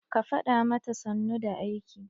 Ka fada mata sannu da aiki!